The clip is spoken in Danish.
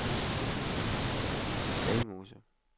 Dalmose